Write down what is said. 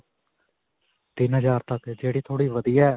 ਤਿੰਨ ਹਜ਼ਾਰ ਤੱਕ ਜਿਹੜੀ ਥੋੜੀ ਵਧੀਆ .